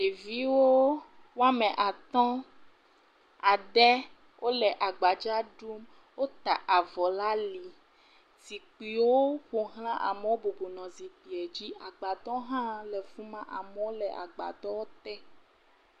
Ɖeviwo woame atɔ̃, ade, o le agbadza ɖum, o ta avɔ la ali, zikpuiwo ƒoxlã, amowo bubunɔ zikpuie dzi, agbadɔ hã le fima, amowo le agbadɔ te.